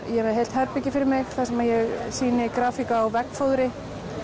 ég er með heilt herbergi fyrir mig þar sem ég sýni grafík á veggfóðri